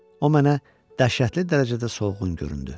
O mənə dəhşətli dərəcədə soğğun göründü.